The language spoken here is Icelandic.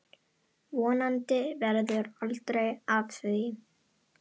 Vonandi verður aldrei af því.